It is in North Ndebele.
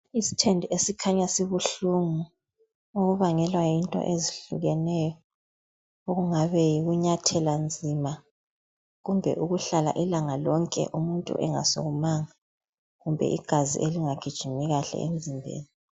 Isithende esikhanya sibuhlungu okubangelwa yinto ezihlukeneyo okungabe yikunyathela nzima, kumbe ukuhlala ilanga lonke umuntu engasukumanga, kumbe igazi elingagijimi kahle emzimbeni.